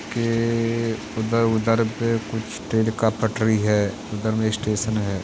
के उधर-उधर पे कुछ ट्रेन का पटरी है। उधर में स्टेशन है।